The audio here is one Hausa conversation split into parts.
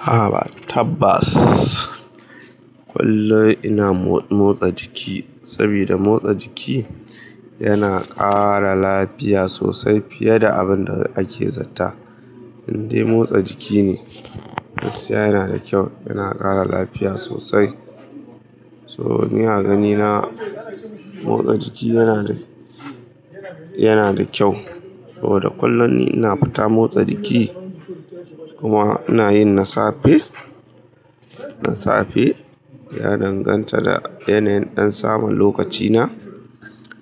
A'a, tabbas kullum ina motsa jiki saboda motsa jiki yana ƙara lafiya sosai fiye da abin da ake zata. Indai motsa jiki ne, gaskiya yana da kyau, yana ƙara lafiya sosai. So ni a ganina motsa jiki yana da, yana da kyau. Saboda kullum ni ina fita motsa jiki kuma ina yin na safe, na safe ya danganta da yanayin ɗan saman lokacina.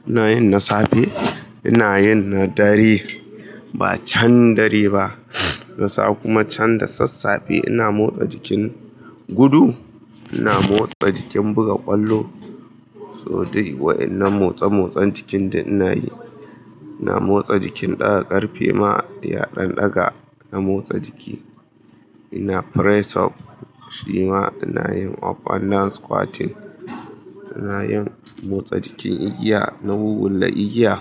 Ina yin na safe, ina yin na dare. Ba can dare ba, na sa kuma can da sassafe ina motsa jikin gudu, ina motsa jikin buga ƙwallo. So dai wa'inan motsa-motsan jikin duk ina yi. Ina motsa jikin ɗaga ƙarfe ma, eh a ɗan ɗaga. Ina motsa jiki, ina press up shi ma ina yin of and down squirtingl now squatting. Ina yin motsa jikin igiya, na wuwulla igiya.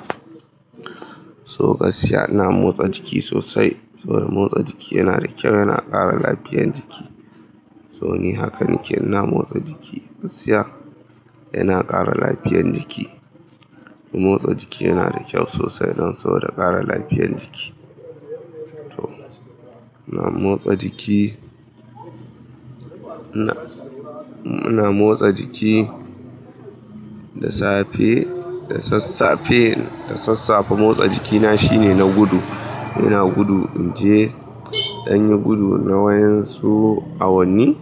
So gaskiya ina motsa jiki sosai. Saboda motsa jiki yana da kyau, yana ƙara lafiyan jiki. So ni hakan ke, ina motsa jiki gaskiya, yana ƙara lafiyan jiki. Motsa jiki yana da kyau sosai don soda ƙara lafiyan jiki. To, ina motsa jiki. Ina, ina motsa jiki da safe, da sassafe, da sassafe motsa jikina shine na gudu. Ina gudu in je, ɗan yin gudu na wayen su awanni.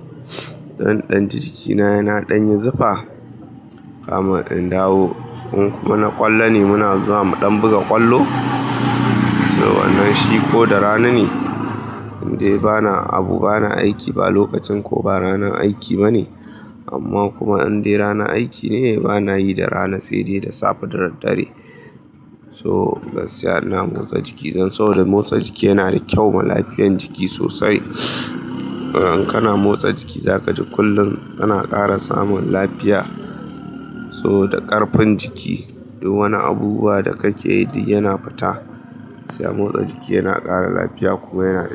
Dan ɗan jikina yana ɗan yin zufa. Kaman in dawo, in kuma na ƙwallo ne muna zuwa mu ɗan buga ƙwallo. So wannan shi ko da rana ne, indai bana abu bana aiki ba lokacin ko ba ranar aiki ba ne. Amma kuma indai rana aiki ne, bana yi da rana sai dai da safe da daddare. So gaskiya ina motsa jiki don so da motsa jiki yana da kyau ma lafiyan jiki sosai. In kana motsa jiki za kaji kullum kana ƙara samun lafiya. So da ƙarfin jiki. Duk wani abubuwa da kake yi duk yana fita. Gaskiya motsa jiki yana ƙara lafiya kuma yana.